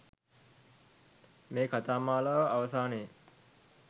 මේ කථා මාලාව අවසානයේ